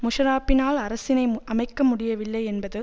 முஷராப்பினால் அரசினை அமைக்க முடியவில்லை என்பது